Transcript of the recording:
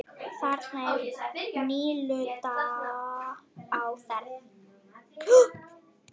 Þarna er nýlunda á ferð.